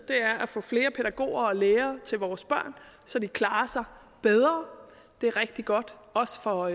er at få flere pædagoger og lærere til vores børn så de klarer sig bedre det er rigtig godt også for